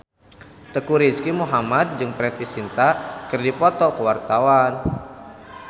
Teuku Rizky Muhammad jeung Preity Zinta keur dipoto ku wartawan